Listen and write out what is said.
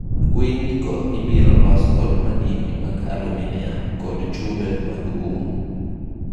Weyini go ibiro los kod madini mag aluminium kod chumbe mag um.